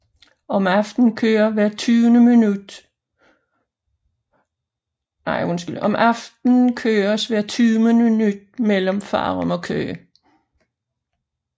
Om aftenen køres hvert tyvende minut mellem Farum og Køge